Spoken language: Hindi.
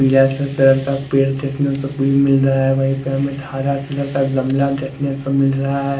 पीला कलर का पेड़ देखने को मिल रहा है वहीं पे हमें एक हरा कलर का गमला देखने को मिल रहा है।